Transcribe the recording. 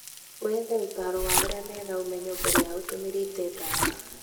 Wethe ũtaaro wa arĩa mena ũmenyo mbere ya ũtũmĩrĩte ndawa.